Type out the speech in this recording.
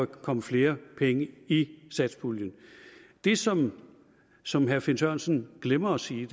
komme flere penge i satspuljen det som som herre finn sørensen glemmer at sige